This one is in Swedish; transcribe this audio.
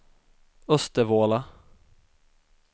Östervåla